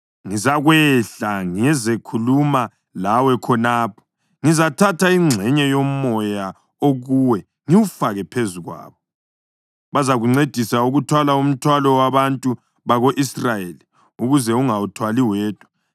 Ngizakwehla ngizekhuluma lawe khonapho, ngizathatha ingxenye yoMoya okuwe ngiwufake phezu kwabo. Bazakuncedisa ukuthwala umthwalo wabantu bako-Israyeli ukuze ungawuthwali wedwa.